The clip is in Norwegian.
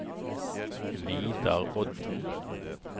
Vidar Odden